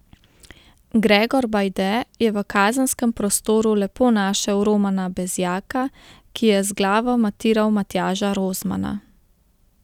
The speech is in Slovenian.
Gregor Bajde je v kazenskem prostoru lepo našel Romana Bezjaka, ki je z glavo matiral Matjaža Rozmana.